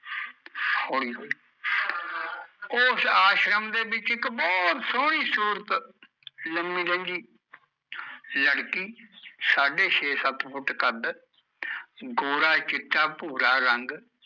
ਹੋਲੀ ਹੋਲੀ ਓਸ ਆਸ਼ਰਮ ਦੇ ਵਿੱਚ ਇੱਕ ਬਹੁਤ ਸੋਹਣੀ ਸੂਰਤ, ਲਮੀ ਲੰਜੀ, ਲੜਕੀ ਸਾਢੇ ਛੇ ਸੱਤ ਫੁੱਟ ਕੱਦ, ਗੋਰਾ ਚਿੱਟਾ ਭੂਰਾ ਰੰਗ